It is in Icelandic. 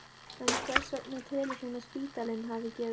En hvers vegna telur hún að spítalinn hafi gefið eftir?